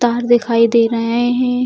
तार दिखाई दे रहे हैं।